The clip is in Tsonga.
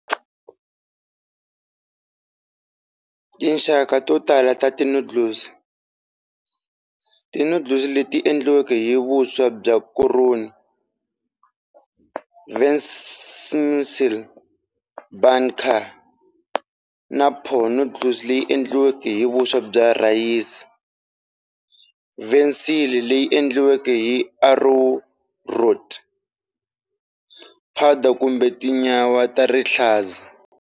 Tinxaka to tala ta ti noodles-ti noodles leti endliweke hi vuswa bya koroni, vermicelli, banh canh na pho noodles leyi endliweke hi vuswa bya rhayisi, vermicelli leyi endliweke hi arrowroot powder kumbe tinyawa ta rihlaza.